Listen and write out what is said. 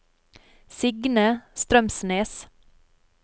Signe Strømsnes